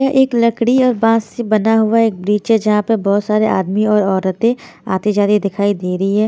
यह एक लकड़ी और बांस से बना हुआ एक ब्रिज है जहाँ पर बहुत सारे आदमी और औरतें आती जाती दिखाई दे रही है।